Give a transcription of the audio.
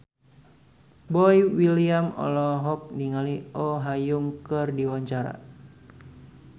Boy William olohok ningali Oh Ha Young keur diwawancara